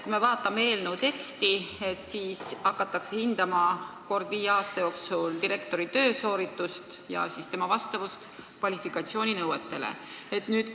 Kui me vaatame eelnõu teksti, siis loeme, et kord viie aasta jooksul hakatakse hindama direktori töösooritust ja siis tema vastavust kvalifikatsiooninõuetele.